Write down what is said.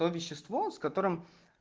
то вещество с которым